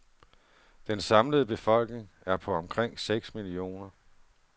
Den samlede befolkning er på omkring seks millioner.